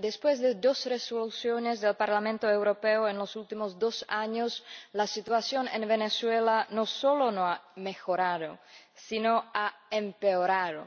después de dos Resoluciones del Parlamento Europeo en los últimos dos años, la situación en Venezuela no solo no ha mejorado sino que ha empeorado.